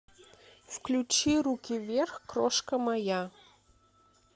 включи руки вверх крошка моя